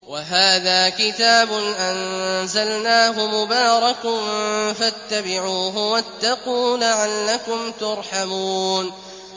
وَهَٰذَا كِتَابٌ أَنزَلْنَاهُ مُبَارَكٌ فَاتَّبِعُوهُ وَاتَّقُوا لَعَلَّكُمْ تُرْحَمُونَ